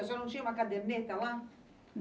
A senhora não tinha uma caderneta lá?